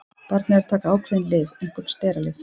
Barnið er að taka ákveðin lyf, einkum steralyf.